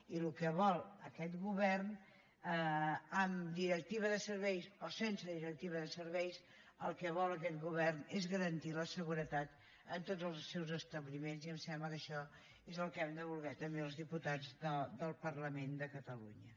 i el que vol aquest govern amb directiva de serveis o sense directiva de serveis és garantir la seguretat en tots els seus establiments i em sembla que això és el que hem de voler també els diputats del parlament de catalunya